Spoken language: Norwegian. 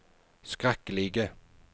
skrekkelige